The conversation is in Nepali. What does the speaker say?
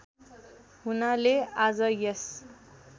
हुनाले आज यस